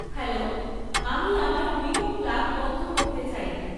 hello আমি আমার WeMo plug বন্ধ করতে চাই